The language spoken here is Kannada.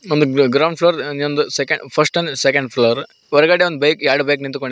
ಒಂದು ಗ್ರೌ ಗ್ರೌಂಡ್ ಫ್ಲೋರ್ ಇನ್ನೊಂದು second first and second floor ಹೊರಗಡೆ ಒಂದು ಬೈಕ್ ಎರಡು ಬೈಕ್ ನಿಂತ್ಕೊಂಡ --